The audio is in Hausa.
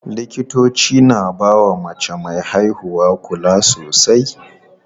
Likitoci na bawa mace me haihuwa kula sosai.